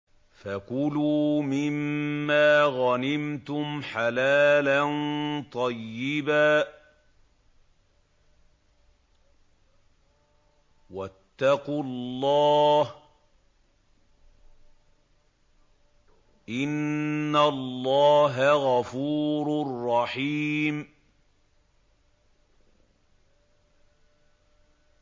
فَكُلُوا مِمَّا غَنِمْتُمْ حَلَالًا طَيِّبًا ۚ وَاتَّقُوا اللَّهَ ۚ إِنَّ اللَّهَ غَفُورٌ رَّحِيمٌ